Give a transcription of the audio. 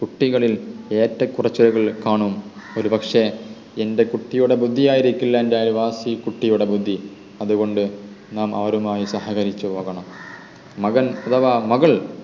കുട്ടികളിൽ ഏറ്റക്കുറച്ചലുകൾ കാണും ഒരു പക്ഷെ എൻ്റെ കുട്ടിയുടെ ബുദ്ധി ആയിരിക്കില്ല എൻ്റെ അയൽവാസി കുട്ടിയുടെ ബുദ്ധി അതുകൊണ്ട് നാം അവരുമായി സഹകരിച്ചുപോകണം മകൻ അഥവാ മകൾ